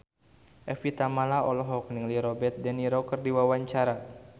Evie Tamala olohok ningali Robert de Niro keur diwawancara